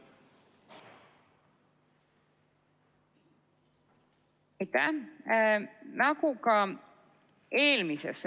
Aitäh!